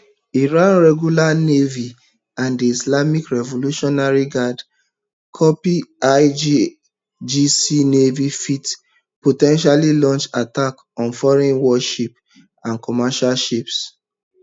iran regular navy and di islamic revolutionary guard corps irgc navy fit po ten tially launch attacks on foreign warships and commercial ships